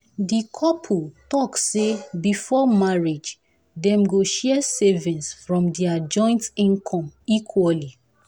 the couple talk say before marriage dem go share savings from their joint income equally.